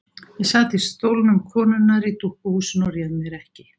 Ég sat í stólnum konunnar í dúkkuhúsinu og réð mér ekki.